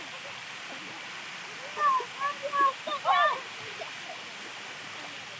Aytun.